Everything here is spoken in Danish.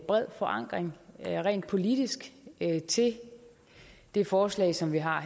bred forankring rent politisk til det forslag som vi har